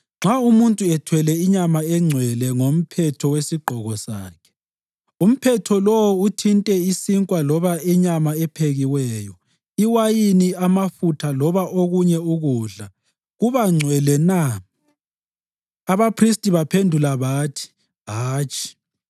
Nxa umuntu ethwele inyama engcwele ngomphetho wesigqoko sakhe, umphetho lowo uthinte isinkwa loba inyama ephekiweyo, iwayini, amafutha loba okunye ukudla, kuba ngcwele na?’ ” Abaphristi baphendula bathi, “Hatshi.”